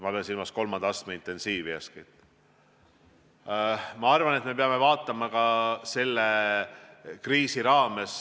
Ma pean eeskätt silmas kolmanda astme intensiivravi.